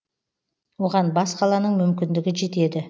оған бас қаланың мүмкіндігі жетеді